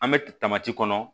An bɛ kɔnɔ